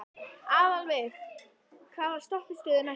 Aðalveig, hvaða stoppistöð er næst mér?